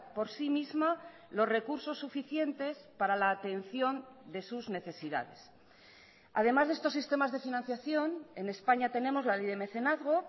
por sí misma los recursos suficientes para la atención de sus necesidades además de estos sistemas de financiación en españa tenemos la ley de mecenazgo